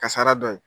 Kasara dɔ ye